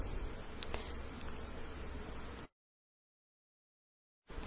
ഇനിWriter window യില് നമുക്ക്Math വിളിക്കാം